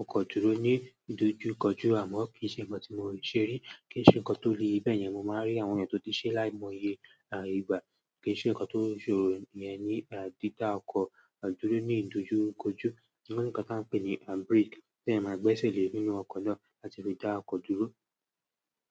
ọkọ̀ dúró ní ìdojúkọjú àmọ́ kì í ṣe nǹkan tí mo ti ṣe rí. Kì í ṣe nǹkan tó le bẹ́ẹ̀ yẹn mo máa rí àwọn ènìyàn tó ti ṣe láìmọye à ìgbà kì í ṣe nǹkan tó ṣòro yẹn ní à dídá ọkọ̀ à dúró ní ìdojúkọjú. Wọn ní nǹkan tí wọ́n ń pè ní à brake tí ẹeyan máa gbé èṣe lè nínú ọkọ̀ náà láti fi dá ọkọ̀ dúró.